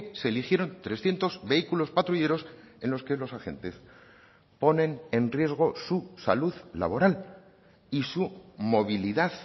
se eligieron trescientos vehículos patrulleros en los que los agentes ponen en riesgo su salud laboral y su movilidad